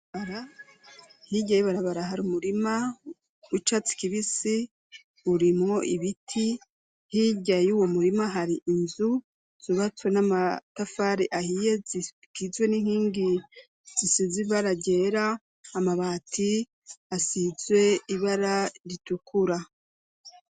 Hirya y'ibarabara hari umurima w'icatsi kibisi burimwo ibiti hirya yuwo murima hari inzu zubatse n'amatafari ahiye zigizwe n'inkingi zisizibara ryera amabati asizwe ibara ritukura